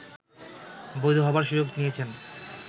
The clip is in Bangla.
বৈধ হবার সুযোগ নিয়েছেন